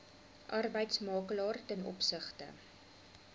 arbeidsmakelaar ten opsigte